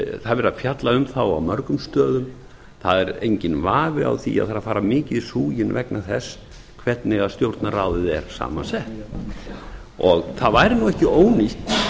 verið að fjalla um þá á mörgum stöðum það er enginn vafi á því að það er að fara mikið í súginn vegna þess hvernig stjórnarráðið er saman sett það væri nú ekki ónýtt